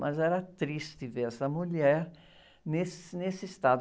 Mas era triste ver essa mulher nesse, nesse estado.